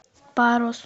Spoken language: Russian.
парус